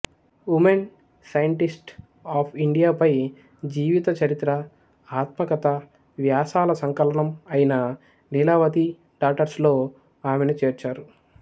women scientists of ఇండియాపై జీవిత చరిత్ర ఆత్మకథ వ్యాసాల సంకలనం అయిన లీలావతి డాటర్స్లో ఆమెను చేర్చారు